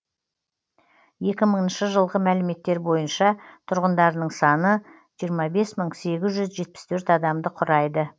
екі мыңыншы жылғы мәліметтер бойынша тұрғындарының саны жиырма бес мың сегіз жүз жетпіс төрт адамды құрайды